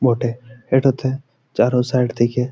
বটে এটাতে চারো সাইড থিকে--